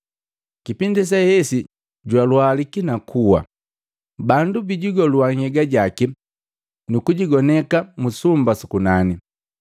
Kipindi sehesi jwalwaliki, nakuwa. Bandu bijigolua nhyegajaki, nukujigoneka mu sumba su kunani.